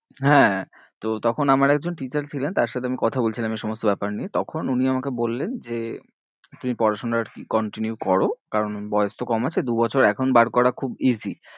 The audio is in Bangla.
হ্যাঁ তো তখন আমার একজন teacher ছিলেন তার সাথে আমি কথা বলছিলাম এই সমস্ত ব্যাপার নিয়ে তখন উনি আমাকে বললেন যে তুমি পড়াশোনা আর কি continue করো কারণ বয়েস তো কম আছে দু বছর এখন বার করা খুব easy